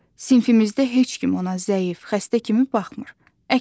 Sinifimizdə heç kim ona zəif, xəstə kimi baxmır.